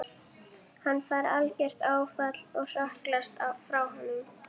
Hann fær algert áfall og hrökklast frá honum.